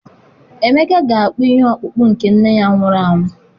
Emeka ga-akpụ ihe ọkpụkpụ nke nne ya nwụrụ anwụ.